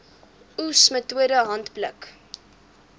oes metode handpluk